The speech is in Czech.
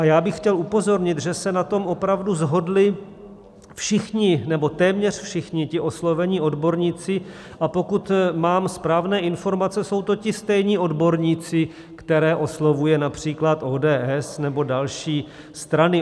A já bych chtěl upozornit, že se na tom opravdu shodli všichni, nebo téměř všichni ti oslovení odborníci, a pokud mám správné informace, jsou to ti stejní odborníci, které oslovuje například ODS nebo další strany.